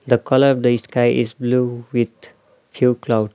the colour of the sky is blue with few cloud.